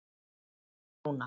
Rúna